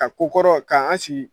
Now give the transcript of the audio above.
Ka ko kɔrɔ k'an sigi